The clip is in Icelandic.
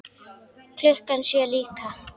Klukkan sjö líka.